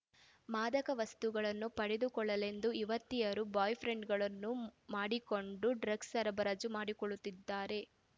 ಮಾದಕ ವಸ್ತುಗಳನ್ನು ಪಡೆದುಕೊಳ್ಳಲೆಂದೇ ಯುವತಿಯರು ಬಾಯ್‌ಫ್ರೆಂಡ್‌ಗಳನ್ನು ಮಾಡಿಕೊಂಡು ಡ್ರಗ್ಸ್‌ ಸರಬರಾಜು ಮಾಡಿಕೊಳ್ಳುತ್ತಿದ್ದಾರೆ